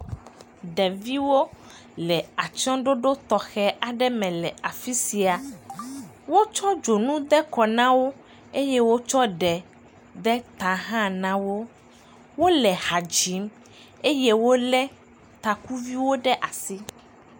Ɖeviwo le atsyɔ̃ɖoɖo tɔxɛ aɖe me le afi sia. Wotsɔ dzonu de kɔ na wo eye wotsɔ ɖe de ta hã na wo. Wole ha dzim eye wolé takuviwo ɖe asi.